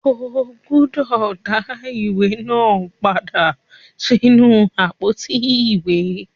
O gbúdọ̀ dá á ìwé náà padà sínú àpótí ìwé.